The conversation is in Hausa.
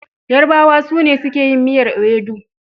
Yarabawa su ne suke yin miyar ewedu.